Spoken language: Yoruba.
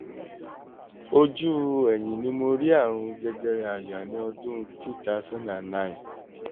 ojú ẹ̀yìn ni mo rí àrùn jẹjẹrẹ àyà ní ọdún two thousand and nine